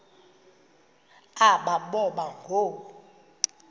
aba boba ngoo